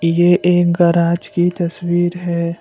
ये एक गराज की तस्वीर है।